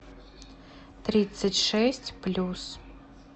тридцать шесть плюс